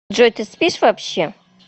джой ты спишь вообще